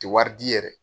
Tɛ wari di yɛrɛ